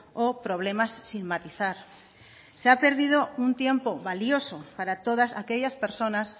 o problemas sin matizar se ha perdido un tiempo valioso para todas aquellas personas